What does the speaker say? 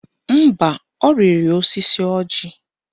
Mba, ọ rịrị osisi ọjị